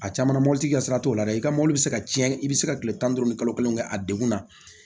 A caman mɔbili tigi ka sira t'o la dɛ i ka mɔbili bɛ se ka tiɲɛ i bɛ se ka tile tan ni duuru kalo kelen kɛ a degun na